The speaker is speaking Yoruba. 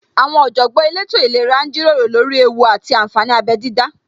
Àwọn Ọ̀jọ̀gbọ́n elétò ìlera ń jíròrò lórí ewú àti ànfàní abẹ dídá